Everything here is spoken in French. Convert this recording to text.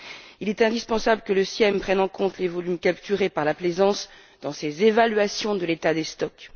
Il est indispensable que le CIEM prenne en compte les volumes capturés par la plaisance dans ces évaluations de l'état des stocks.